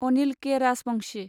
Anil K. Rajbanshi